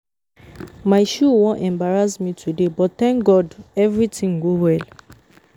My shoe wan embarrass me today but thank God everything go well